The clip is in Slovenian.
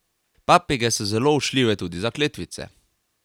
Papige so zelo učljive tudi za kletvice.